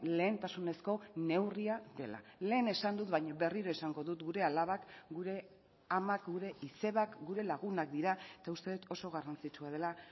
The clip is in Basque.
lehentasunezko neurria dela lehen esan dut baina berriro esango dut gure alabak gure amak gure izebak gure lagunak dira eta uste dut oso garrantzitsua dela